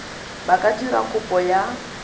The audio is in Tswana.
ba ka dira kopo ya